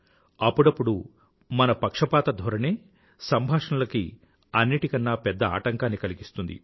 అప్పుడప్పుడు మన పక్షపాతధోరణే సంభాషణలకి అన్నింటికన్నా పెద్ద ఆటంకాన్ని కలిగిస్తుంది